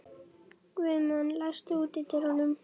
Guðmon, læstu útidyrunum.